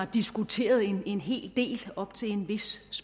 diskuterede en hel del op til en vis